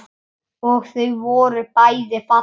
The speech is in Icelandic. Og þau voru bæði falleg.